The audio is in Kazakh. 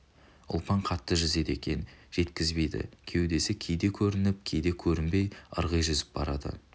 ұлпан қатты жүзеді екен жеткізбейді кеудесі кейде көрініп кейде көрінбей ырғи жүзіп барады